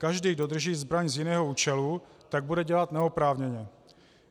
Každý, kdo drží zbraň z jiného účelu, tak bude dělat neoprávněně.